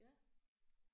Ja